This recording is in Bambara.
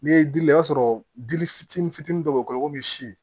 N'i ye dili lajɛ i b'a sɔrɔ dili fitinin fitinin dɔ bɛ si